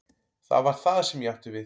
Það var það sem ég átti við.